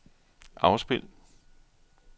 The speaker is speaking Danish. afspil